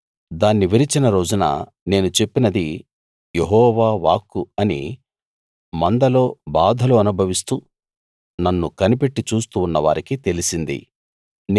దాన్ని విరిచిన రోజున నేను చెప్పినది యెహోవా వాక్కు అని మందలో బాధలు అనుభవిస్తూ నన్ను కనిపెట్టి చూస్తూ ఉన్నవారికి తెలిసింది